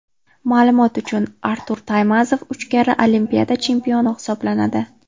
Ma’lumot uchun, Artur Taymazov uch karra Olimpiada chempioni hisoblanadi.